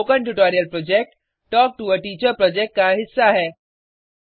spoken tutorial project talk to a teacher project का हिस्सा है